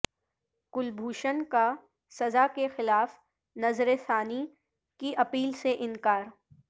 کلبھوشن کا سزا کے خلاف نظرثانی کی اپیل سے انکار